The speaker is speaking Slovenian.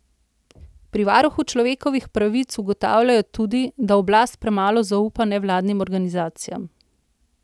Pri varuhu človekovih pravic ugotavljajo tudi, da oblast premalo zaupa nevladnim organizacijam.